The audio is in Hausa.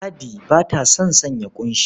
Ladi ba ta son sanya ƙunshi.